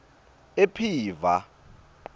ephiva